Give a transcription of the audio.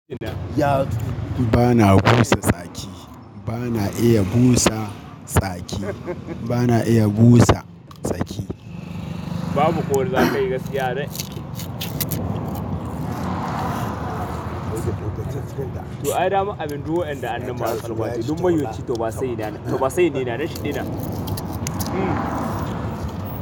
Bana busa tsaki. Bana iya busa saki. Bana iya busa saki. Babu ko da zatayi gaskiya da. To ai dama abin duhu an da an nema saboda duk mafi yawanci tobasaiyi nane,.tobasaiyi nane donshi daina ehmm.